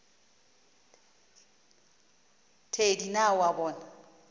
thedi na o a bona